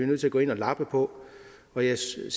nødt til at gå ind og lappe på og jeg ser